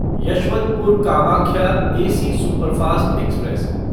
Yesvantpur Kamakhya AC superfast express